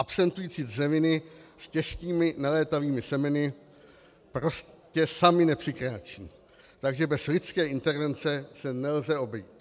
Absentující dřeviny s těžkými nelétavými semeny prostě samy nepřikráčejí, takže bez lidské intervence se nelze obejít.